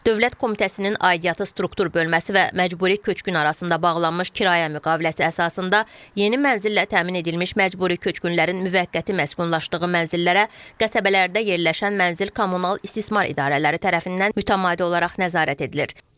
Dövlət Komitəsinin aidiyyatı struktur bölməsi və məcburi köçkün arasında bağlanmış kirayə müqaviləsi əsasında yeni mənzillə təmin edilmiş məcburi köçkünlərin müvəqqəti məskunlaşdığı mənzillərə, qəsəbələrdə yerləşən mənzil kommunal istismar idarələri tərəfindən mütəmadi olaraq nəzarət edilir.